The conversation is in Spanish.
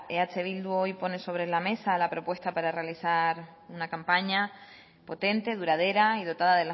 eh bildu pone hoy sobre la mesa la propuesta para realizar una campaña potente duradera y dotada